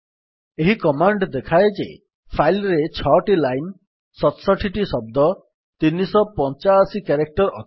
ଏହି କମାଣ୍ଡ୍ ଦେଖାଏ ଯେ ଫାଇଲ୍ ରେ 6 ଟି ଲାଇନ୍ 67 ଶବ୍ଦ ଓ 385 କ୍ୟାରେକ୍ଟର୍ ଅଛି